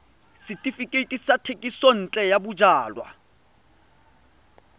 setefikeiti sa thekisontle ya bojalwa